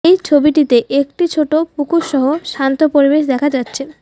এই ছবিটিতে একটি ছোট পুকুরসহ শান্ত পরিবেশ দেখা যাচ্ছে।